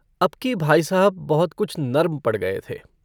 अबकी भाई साहब बहुत कुछ नर्म पड़ गये थे।